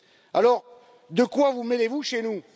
Alors, de quoi vous mêlez vous chez nous?